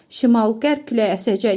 Şimal-qərb küləyi əsəcək.